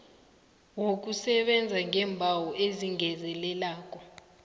wokusebenza ngeembawo ezingezelelako